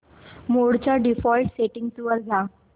मोड च्या default settings वर जा